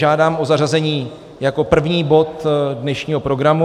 Žádám o zařazení jako první bod dnešního programu.